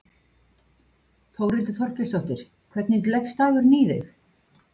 Þórhildur Þorkelsdóttir: Hvernig leggst dagurinn í þig?